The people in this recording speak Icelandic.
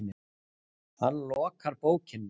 Hann lokar bókinni.